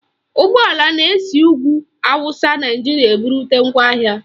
Ụgbọala na-esi n'ugwu Awụsa Naijiria ebute ngwaahịa